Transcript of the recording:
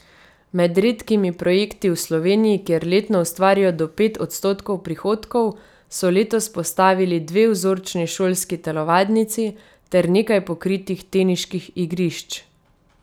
Med redkimi projekti v Sloveniji, kjer letno ustvarijo do pet odstotkov prihodkov, so letos postavili dve vzorčni šolski telovadnici ter nekaj pokritih teniških igrišč.